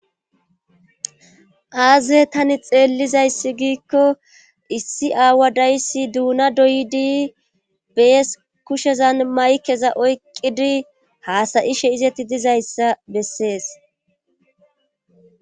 aaze tani xeellizayssi giikko issi aawa dayssi duuna doydi bees kushezan maykeza oyqidi haasayi she izetti dizayssa bessees